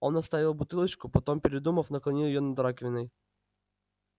он отставил бутылочку потом передумав наклонил её над раковиной